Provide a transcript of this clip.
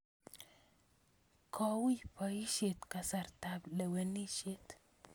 Ko ui poisyet eng' kasartap lewenisyet